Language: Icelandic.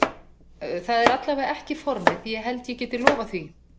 Það er allavega ekki formið ég held ég geti lofað því.